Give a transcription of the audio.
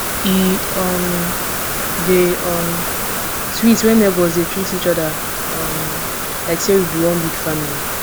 e um dey um sweet when neighbors dey treat each other um like say we be one big family